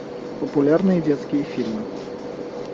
популярные детские фильмы